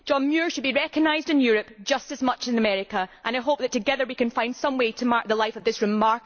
John Muir should be recognised in Europe just as much as in America, and I hope that together we can find some way to mark the life of this remarkable man.